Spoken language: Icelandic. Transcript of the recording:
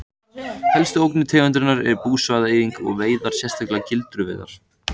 Helstu ógnanir tegundarinnar er búsvæða-eyðing og veiðar sérstaklega gildruveiðar.